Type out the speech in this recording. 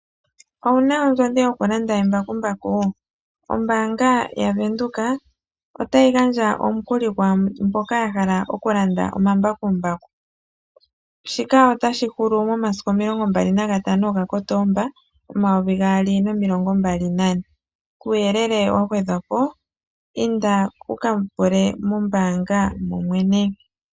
Owu na ondjodhi yokulanda embakumbaku? Ombaanga yaVenduka otayi gandja omukuli kwaa mboka ya hala okulanda omambakumbaku. Shika otashi hulu momasiku 21 Kotoba 2024. Kuuyelele wa gwadhwa po, inda wu ka pule mombaanga momwene.